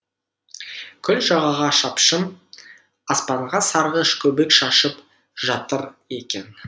көл жағаға шапшып аспанға сарғыш көбік шашып жа тыр екен